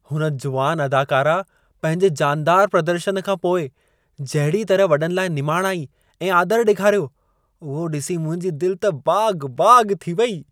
हुन जुवान अदाकारा पंहिंजे जानदार प्रदर्शनु खां पोइ जहिड़ीअ तरह वॾनि लाइ निमाणाई ऐं आदर ॾेखारियो, उहो ॾिसी मुंहिंजी दिलि त बाग़-बाग़ थी वई।